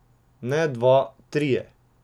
Ne dva, trije.